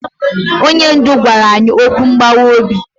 Onye ndu gwara anyị okwu mgbawa obi.